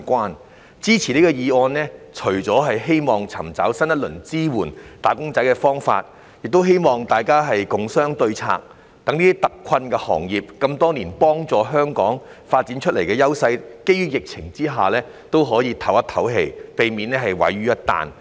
我支持此項議案的原因，除了是希望尋找新一輪支援"打工仔"的方法，亦希望大家共商對策，讓這些多年來幫助香港發展優勢但在疫情下特困的行業可以鬆一口氣，避免毀於一旦。